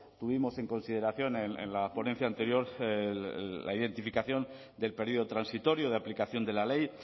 tuvimos en consideración en la ponencia anterior la identificación del periodo transitorio de aplicación de la ley